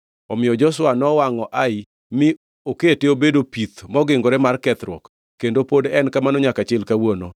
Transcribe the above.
Omiyo Joshua nowangʼo Ai mi okete obedo pith mongingore mar kethruok kendo pod en kamano nyaka chil kawuono.